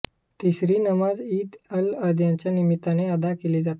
तिसरी नमाज ईद अलअधाच्या निमित्ताने अदा केली जाते